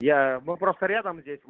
я мы просто рядом здесь